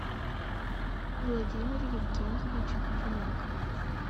владимир евгеньевич примак